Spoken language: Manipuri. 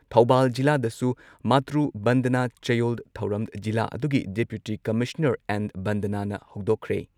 ꯊꯧꯕꯥꯜ ꯖꯤꯂꯥꯗꯁꯨ ꯃꯥꯇ꯭ꯔꯨ ꯕꯟꯗꯅꯥ ꯆꯌꯣꯜ ꯊꯧꯔꯝ ꯖꯤꯂꯥ ꯑꯗꯨꯒꯤ ꯗꯤꯄ꯭ꯌꯨꯇꯤ ꯀꯃꯤꯁꯅꯔ ꯑꯦꯟ. ꯕꯟꯗꯅꯥꯅ ꯍꯧꯗꯣꯛꯈ꯭ꯔꯦ ꯫